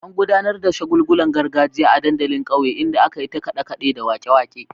An gudanar da shagulgulan gargajiya a dandalin kauye, inda aka yi ta kade-kade da wake-wake.